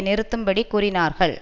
நிறுத்தும்படி கூறினார்கள்